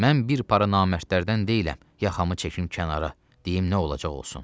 Mən bir para namərdlərdən deyiləm, yaxamı çəkim kənara, deyim nə olacaq olsun.